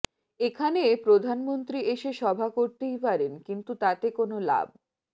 এখানে প্রধানমন্ত্রী এসে সভা করতেই পারেন কিন্তু তাতে কোনোও লাভ